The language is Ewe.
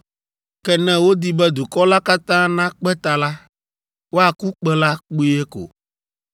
Ke ne wodi be dukɔ la katã nakpe ta la, woaku kpẽ la kpuie ko.